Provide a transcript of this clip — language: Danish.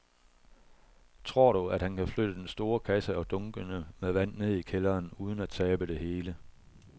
Tror du, at han kan flytte den store kasse og dunkene med vand ned i kælderen uden at tabe det hele?